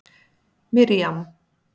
Miriam